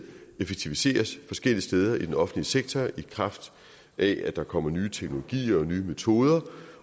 effektiviseres forskellige steder i den offentlige sektor i kraft af at der kommer nye teknologier og nye metoder